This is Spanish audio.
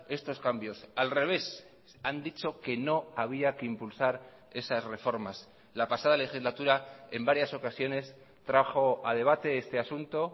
estos cambios al revés han dicho que no había que impulsar esas reformas la pasada legislatura en varias ocasiones trajo a debate este asunto